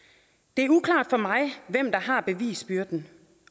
det er uklart for mig hvem der har bevisbyrden